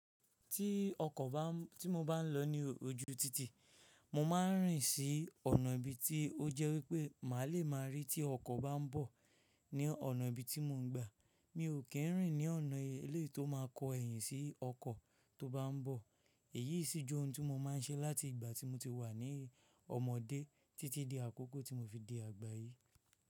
Tí ọkọ̀ bá n, tí mo bá ń lọ ní ojú títì, mo máa ń rìn sí ọ̀nà ibi tí ó jẹ́ wípé má lè máa rí tí ọkọ̀ bá ń bọ̀ ní ọ̀nà ibi tí mò ń gba. Mi ò kí ń rìn ní ọ̀nà eléyìí tó máa kọ ẹ́yìn sí ọkọ̀ tó bá ń bọ̀. Èyíi sì jẹ́ ohun tí mo máa ń ṣe láti ìgbà tí mo ti wà ní ọmọdé títí di àkókò tí mo fi di àgbà yìí.